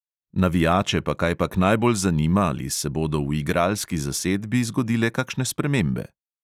Navijače pa kajpak najbolj zanima, ali se bodo v igralski zasedbi zgodile kakšne spremembe.